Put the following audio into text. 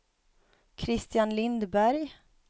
Kristian Lindberg